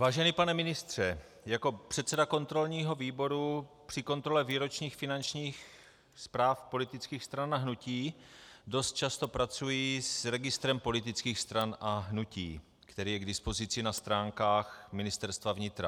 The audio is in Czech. Vážený pane ministře, jako předseda kontrolního výboru při kontrole výročních finančních zpráv politických stran a hnutí dost často pracuji s registrem politických stran a hnutí, který je k dispozici na stránkách Ministerstva vnitra.